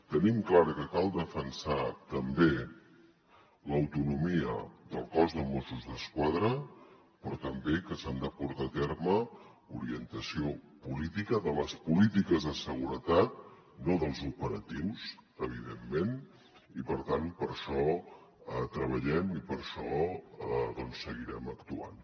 tenim clar que cal defensar també l’autonomia del cos de mossos d’esquadra però també que s’ha de portar a terme orientació política de les polítiques de seguretat no dels operatius evidentment i per tant per això treballem i per això seguirem actuant